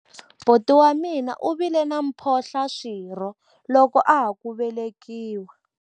buti wa mina u vile na mphohlaswirho loko a ha ku velekiwa